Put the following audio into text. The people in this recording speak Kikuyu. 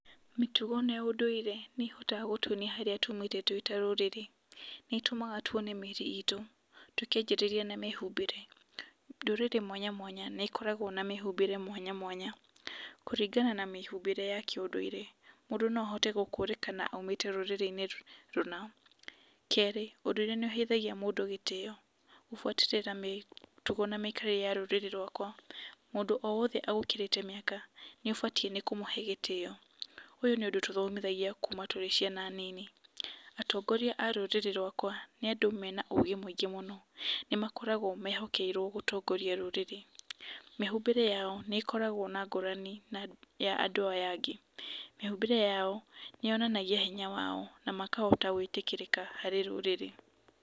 Mĩtugo na ũndũire nĩ hotaga gũtuonia harĩa twĩ ta rũrĩrĩ. Nĩ tũmaga tuone mĩri itũ tũkĩajĩrĩria na mĩhumbĩre, rũrĩrĩ mwanya mwanya nĩ koragwa na mĩhumbĩre mwanya mwanya, kũringana na mĩhumbĩre ya kĩundũire mũndũ no ahote gũkũrĩka kana aumĩte rũrĩrĩnĩ rũna. Kerĩ ũndũire nĩũteithagia mũndũ gĩtiyo, gũbuatĩrĩra mĩtugo na mĩkarĩre ya rũrĩrĩ rwakwa, mũndũ o wothe agũkĩrĩte mĩaka nĩ abatie gĩtĩo. Ũyũ nĩ ũndũ tũthomithagia kuma tũrĩ ciana nini, atongoria arũrĩrĩ rwakwa nĩ andũ mena ũgĩ mũingĩ mũno, nĩ makoragwa mehokeirwo gũtongoria rũrĩrĩ, mĩhumbĩre yao nĩ koragwa na ngũrani ya andũ aya angĩ, mĩhumbĩre yao nĩ yonanagia hinya wao na makahota gwĩtĩkĩrĩka harĩ rũrĩrĩ.